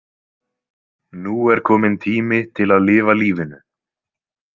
Nú er kominn tími til að lifa lífinu.